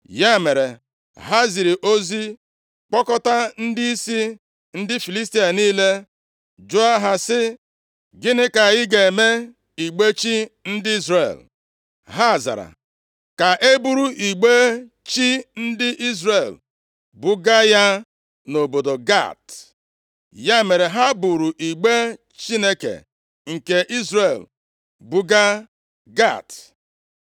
Ya mere, ha ziri ozi kpọkọta ndịisi ndị Filistia niile, jụọ ha sị, “Gịnị ka anyị ga-eme igbe chi ndị Izrel?” Ha zara, “Ka e buru igbe chi ndị Izrel buga ya nʼobodo Gat.” Ya mere ha buuru igbe Chineke nke Izrel buga Gat.